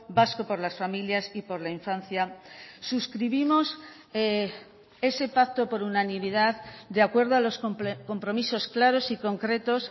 vasco por las familias y por la infancia suscribimos ese pacto por unanimidad de acuerdo a los compromisos claros y concretos